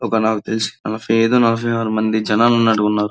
ఒక నాకు తెలిసి నలఫై ఐదు నలఫై ఆరు మంది జనాలు ఉన్నట్టుగా ఉన్నారు.